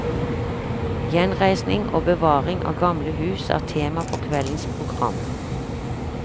Gjenreisning og bevaring av gamle hus er tema for kveldens program.